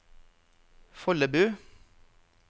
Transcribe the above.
Follebu